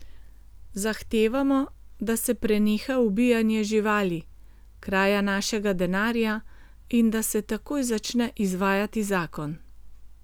Zahtevamo, da se preneha ubijanje živali, kraja našega denarja in da se takoj začne izvajati zakon.